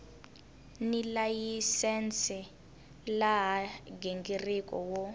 ni layisense laha nghingiriko wo